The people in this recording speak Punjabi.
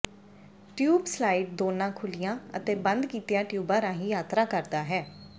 ਟਿਊਬ ਸਲਾਇਡ ਦੋਨਾਂ ਖੁੱਲ੍ਹੀਆਂ ਅਤੇ ਬੰਦ ਕੀਤੀਆਂ ਟਿਊਬਾਂ ਰਾਹੀਂ ਯਾਤਰਾ ਕਰਦਾ ਹੈ